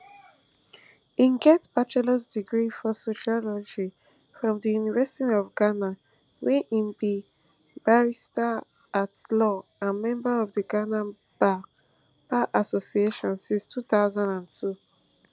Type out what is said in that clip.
im get bachelors degree for sociology from di university of ghana wia im be barristeratlaw and member of di ghana bar bar association since two thousand and two